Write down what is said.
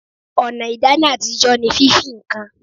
Ọ̀nà ìdáná àtijọ́ ní fífí ǹkan